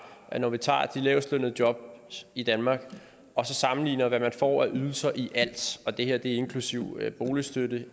at når vi tager de lavest lønnede jobs i danmark og sammenligner hvad man får af ydelser i alt og det her er inklusive boligstøtte